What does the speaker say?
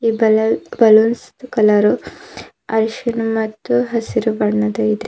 Balloon balloons colour ಅರಿಶಿನ್ ಮತ್ತು ಹಸಿರು ಬಣ್ಣದ ಇದೆ.